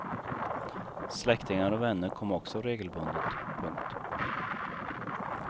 Släktingar och vänner kom också regelbundet. punkt